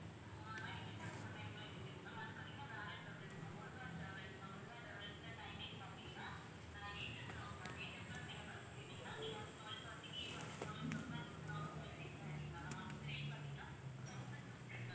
அஹ் night கூட உங்க time ல இருக்கு ma'am அது பார்த்தீங்கன்னா வேற travels ma'am Muruga travels ma'am Muruga டிராவல்ஸ்ல timing பார்த்தீங்கன்னா, அஹ் eight o'clock ma'am eight o'clock நீங்க bus ஏறுனீங்கன்னா நீங்க வந்து twelve thirty க்கு வந்து twelve o'clock எல்லாம் நீங்க வந்து நாகர்கோயில்ல reach ஆகிறலாம் ma'am அதுக்கு rate பார்த்தீங்கன்னா thousand fifty ma'am